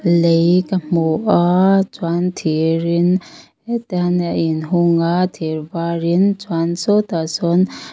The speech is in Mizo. lei ka hmu aaa chuan thir in hetian a in hung a thir varin chuan sawtah sawn--